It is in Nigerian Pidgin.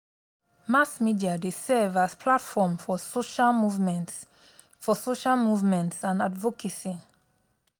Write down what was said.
mass media dey serve as platform for social movements for social movements and advocacy.